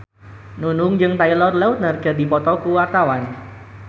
Nunung jeung Taylor Lautner keur dipoto ku wartawan